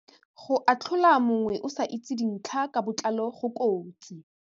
Go atlhola mongwe o sa itse dintlha ka botlalo go kotsi.